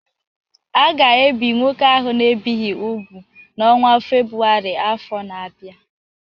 A ga-ebi nwoke ahụ a na-ebighị úgwù n’ọnwa Febụwarị afọ na-abịa.